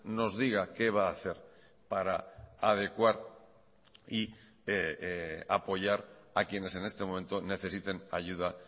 nos diga qué va a hacer para adecuar y apoyar a quienes en este momento necesiten ayuda